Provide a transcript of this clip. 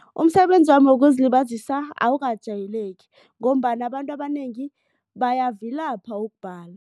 Umsebenzi wokuzilibazisa awukajayeleki ngombana abantu abanengi bayavilapha ukubhala.